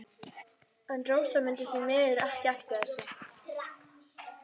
En Rósa mundi því miður ekki eftir þessu.